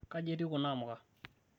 kaji etiu kuna amuka?